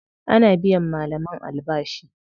Ana biyan malaman albashi.